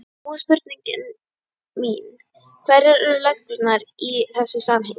Nú er spurning mín: Hverjar eru reglurnar í þessu samhengi?